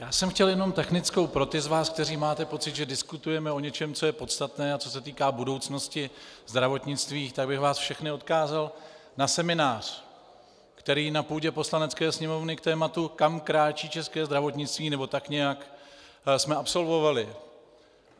Já jsem chtěl jenom technickou pro ty z vás, kteří máte pocit, že diskutujeme o něčem, co je podstatné a co se týká budoucnosti zdravotnictví, tak bych vás všechny odkázal na seminář, který na půdě Poslanecké sněmovny k tématu "Kam kráčí české zdravotnictví?" - nebo tak nějak - jsme absolvovali.